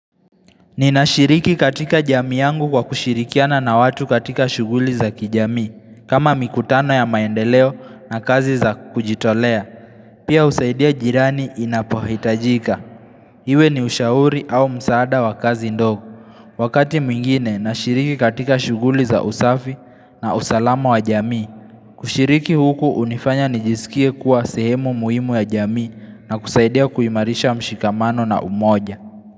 Ninashiriki katika jamii yangu kwa kushirikiana na watu katika shughuli za kijamii, kama mikutano ya maendeleo na kazi za kujitolea Pia husaidia jirani inapohitajika, iwe ni ushauri au msaada wa kazi ndogo Wakati mwingine, nashiriki katika shughuli za usafi na usalama wa jamii. Kushiriki huku hunifanya nijisikie kuwa sehemu muhimu ya jami na kusaidia kuimarisha mshikamano na umoja.